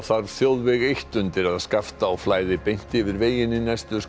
þarf þjóðveg eitt undir að Skaftá flæði beint yfir veginn í næstu